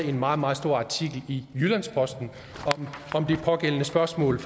en meget meget stor artikel i jyllands posten om det pågældende spørgsmål